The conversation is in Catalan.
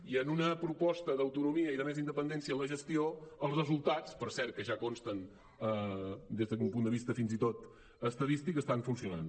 i en una proposta d’autonomia i de més independència en la gestió els resultats per cert que ja consten des d’un punt de vista fins i tot estadístic estan funcionant